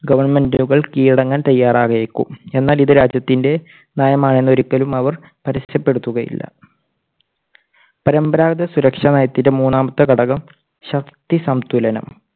ഗവൺമെന്റുകൾ കീഴടങ്ങാൻ തയ്യാറായേക്കും. എന്നാൽ ഇത് രാജ്യത്തിൻറെ നയമാണെന്ന് ഒരിക്കലും അവർ പരസ്യപ്പെടുത്തുകയില്ല. പരമ്പരാഗത സുരക്ഷാ നയത്തിലെ മൂന്നാമത്തെ ഘടകം ശക്തി സംതുലനം